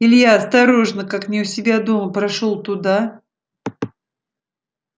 илья осторожно как не у себя дома прошёл туда